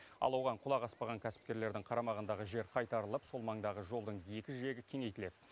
ал оған құлақ аспаған кәсіпкерлердің қарамағындағы жер қайтарылып сол маңдағы жолдың екі жиегі кеңейтіледі